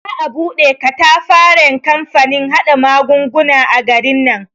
Za a bude katafaren kamfanin haɗa magunguna a garin nan.